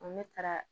Ne taara